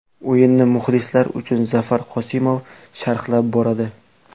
O‘yinni muxlislar uchun Zafar Qosimov sharhlab boradi.